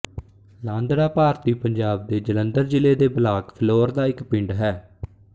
ਲਾਂਦੜਾ ਭਾਰਤੀ ਪੰਜਾਬ ਦੇ ਜਲੰਧਰ ਜ਼ਿਲ੍ਹੇ ਦੇ ਬਲਾਕ ਫਿਲੌਰ ਦਾ ਇੱਕ ਪਿੰਡ ਹੈ